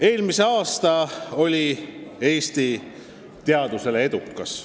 Eelmine aasta oli Eesti teadusele edukas.